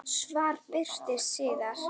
Svar birtist síðar.